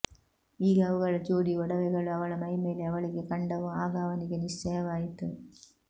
ಈಗ ಅವುಗಳ ಜೋಡಿ ಒಡವೆಗಳು ಅವಳ ಮೈಮೇಲೆ ಅವಳಿಗೆ ಕಂಡವು ಆಗ ಅವನಿಗೆ ನಿಶ್ಚಯವಾಯಿತು